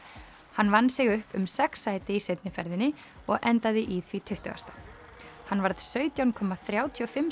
hann vann sig upp um sex sæti í seinni ferðinni og endaði í því tuttugasta hann varð sautján komma þrjátíu og fimm